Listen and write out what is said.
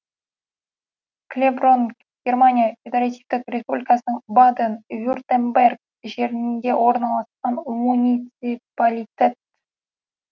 клеброн германия федеративтік республикасының баден вюртемберг жерінде орналасқан муниципалитет